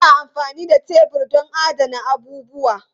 Ana amfani da tebur don adana abubuwa.